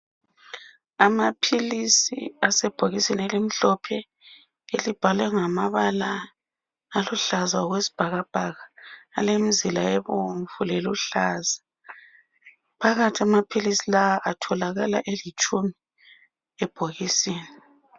Amaphilisi asebhokisini elimhlophe elibhalwe ngamabala aluhlaza okwesibhakabhaka alemizila ebomvu leluhlaza. Phakathi amaphilisi la atholakala elitshumi ebhokisini.